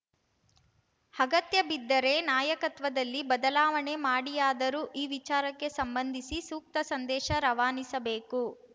ಅಗತ್ಯಬಿದ್ದರೆ ನಾಯಕತ್ವದಲ್ಲಿ ಬದಲಾವಣೆ ಮಾಡಿಯಾದರೂ ಈ ವಿಚಾರಕ್ಕೆ ಸಂಬಂಧಿಸಿ ಸೂಕ್ತ ಸಂದೇಶ ರವಾನಿಸಬೇಕು